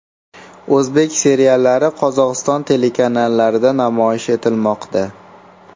O‘zbek seriallari Qozog‘iston telekanallarida namoyish etilmoqda.